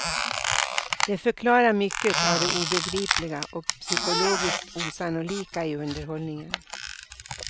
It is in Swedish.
Det förklarar mycket av det obegripliga och psykologiskt osannolika i underhållningen.